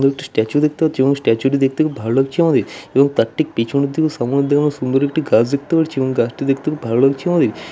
এবং একটি স্ট্যাচু দেখতে পাচ্ছি এবং স্ট্যাচুটি দেখতে খুব ভালো লাগছে আমাদের এবং তার ঠিক পেছনের দিকে সুন্দর একটি গাছ দেখতে পারছি এবং গাছটি দেখতে খুব ভালো লাগছে আমাদের।